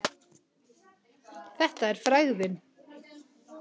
Þetta er frægðin.